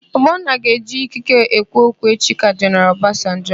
Ogbonna ga-eji ikike ekwu okwu echi ka Jeneral Ọbasanjọ.